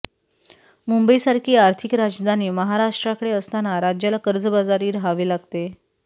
मुंबईसारखी आर्थिक राजधानी महाराष्ट्राकडे असताना राज्याला कर्जबाजारी राहावे लागते